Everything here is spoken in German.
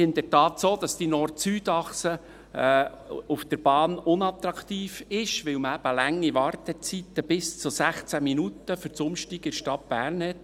Es ist in der Tat so, dass die Nord-Süd-Achse auf der Bahn unattraktiv ist, weil man eben lange Wartezeiten – bis zu 16 Minuten – für das Umsteigen in der Stadt Bern hat.